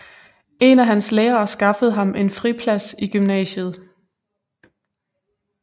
En af hans lærere skaffede ham en friplads i gymnasiet